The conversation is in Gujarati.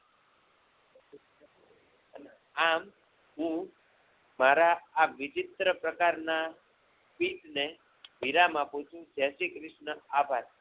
આમ હું મારા આ વિચિત્ર પ્રકારના વિરામ આપું છું જયશ્રી કૃષણા આભાર